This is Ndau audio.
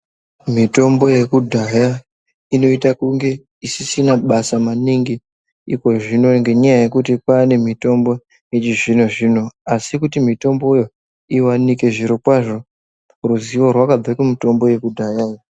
Mitombo yekudaya, inoyita kunge isisina basa maningi, ikozvino ngenyaya yekuti kwanemitombo yechizvino zvino. Asi kuti mitomboyo iwanike zvirokwazvo, ruzivo rwakabve kumitombo yekudaya.